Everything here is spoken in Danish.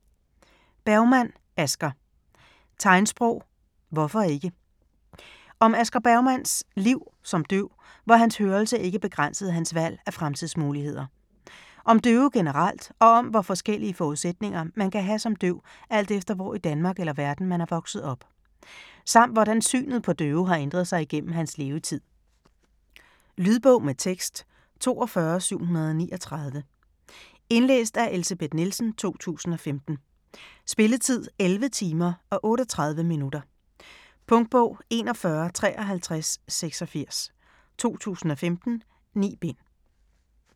Bergmann, Asger: Tegnsprog - hvorfor ikke? Om Asger Bergmanns (f. 1947) liv som døv, hvor hans hørelse ikke begrænsede hans valg af fremtidsmuligheder. Om døve generelt og om hvor forskellige forudsætninger man kan have som døv alt efter hvor i Danmark eller verden, man er vokset op. Samt hvordan synet på døve har ændret sig igennem hans levetid. Lydbog med tekst 42739 Indlæst af Elsebeth Nielsen, 2015. Spilletid: 11 timer, 38 minutter. Punktbog 415386 2015. 9 bind.